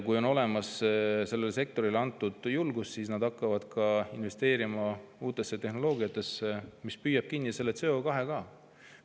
Kui on sellele sektorile antud julgust, siis nad hakkavad investeerima ka uutesse tehnoloogiatesse, mis püüavad ka CO2 kinni.